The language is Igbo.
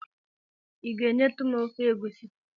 I ga-enyetụ m ofe egusi?